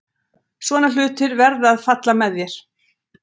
Svona hlutir verða að falla með þér.